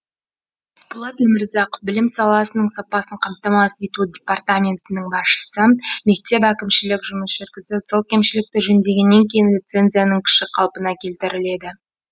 есболат өмірзақов білім саласының сапасын қамтамасыз ету департаментінің басшысы мектеп әкімшілігі жұмыс жүргізіп сол кемшілікті жөндегеннен кейін лицензияның күші қалпына келтіріледі